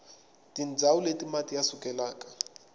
tindzawu leti mati ya sukelaka